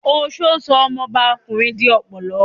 Oṣó sọ ọmọbá ọkùnrin di ọ̀pọ̀lọ́